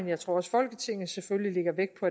jeg tror også folketinget selvfølgelig lægger vægt på